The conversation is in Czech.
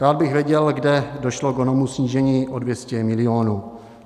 Rád bych věděl, kde došlo k onomu snížení o 200 milionů.